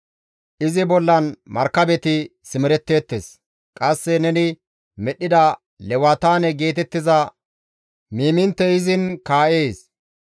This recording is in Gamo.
Izi bollan markabeti simeretteettes; qasse neni medhdhida Lewataane geetettiza miiminttey izin kaa7ees.